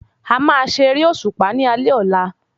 A má ṣe eré òṣùpá ní alé ọ̀la